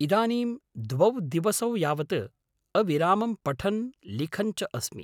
इदानीं द्वौ दिवसौ यावत् अविरामं पठन् लिखन् च अस्मि।